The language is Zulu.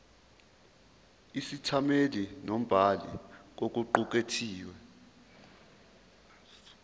isethameli nombhali kokuqukethwe